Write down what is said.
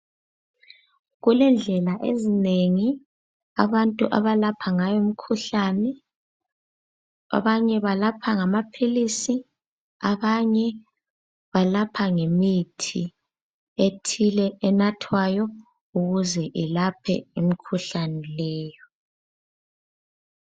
Kulendlela ezinengi abantu abalapha ngayo imkhuhlane, abanye balapha ngamaphilisi, abanye balapha ngemithi ethile enathwayo ukuze ilaphe imkhuhlane leyo.